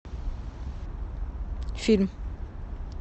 фильм